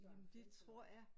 Jamen det tror jeg